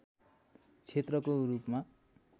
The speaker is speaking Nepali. क्षेत्रको रूपमा